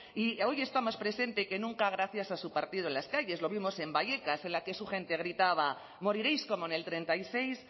y hoy está más presente que nunca gracias a su partido en las calles lo vimos en vallecas en la que su gente gritaba moriréis como en el treinta y seis